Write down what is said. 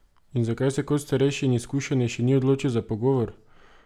In zakaj se kot starejši in izkušenejši ni odločil za pogovor?